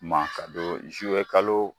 Ma ka don kalo